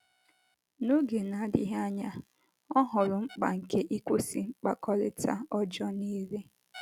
N’oge na - adịghị anya, ọ hụrụ mkpa nke ịkwụsị mkpakọrịta ọjọọ nile.